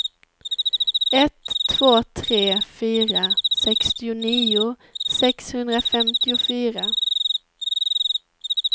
ett två tre fyra sextionio sexhundrafemtiofyra